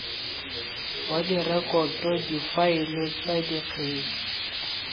wa direkoto difaele tsa dikgetse